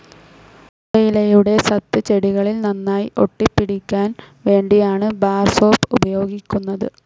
പുകയിലയുടെ സത്ത് ചെടികളിൽ നന്നായി ഒട്ടിപ്പിടിയ്ക്കാൻ വേണ്ടിയാണ് ബാർ സോപ്പ്‌ ഉപയോഗിക്കുന്നത്.